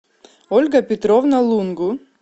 ольга петровна лунгу